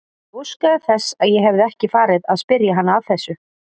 Ég óskaði þess að ég hefði ekki farið að spyrja hana að þessu.